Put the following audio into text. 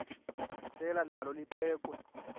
selwa nalo liphekhwe